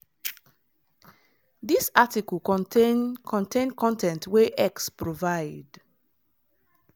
dis article contain contain con ten t wey x provide.